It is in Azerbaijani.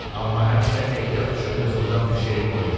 Amma həmişə ehtiyat üçün qızıldan bir şeyim olur.